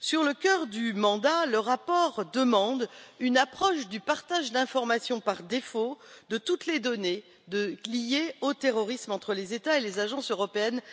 Sur le cœur du mandat, le rapport demande une approche du partage d'informations par défaut de toutes les données liées au terrorisme entre les États et les agences européennes concernées,